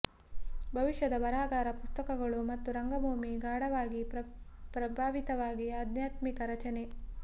ಭವಿಷ್ಯದ ಬರಹಗಾರ ಪುಸ್ತಕಗಳು ಮತ್ತು ರಂಗಭೂಮಿ ಗಾಢವಾಗಿ ಪ್ರಭಾವಿತವಾಗಿ ಆಧ್ಯಾತ್ಮಿಕ ರಚನೆ